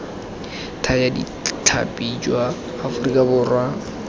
thaya ditlhapi jwa aforika borwa